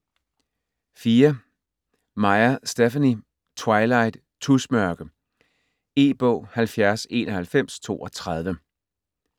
Meyer, Stephenie: Twilight - tusmørke E-bog 709132